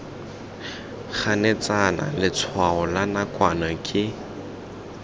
ganetsana letshwao la nakwana ke